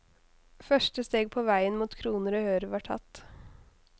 Første steg på veien mot kroner og øre var tatt.